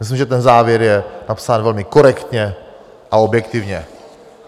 Myslím, že ten závěr je napsán velmi korektně a objektivně.